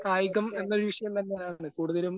കായികം എന്നൊരു വിഷയം തന്നെയാണ് കൂടുതലും.